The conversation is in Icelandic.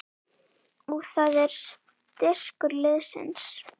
Og það er styrkur liðsins